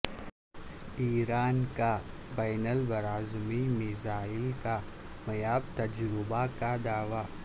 ایران کا بین البراعظمی میزائل کامیاب تجربہ کا دعوی